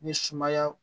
Ni sumaya